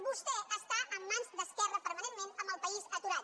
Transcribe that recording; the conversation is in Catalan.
vostè està en mans d’esquerra permanentment amb el país aturat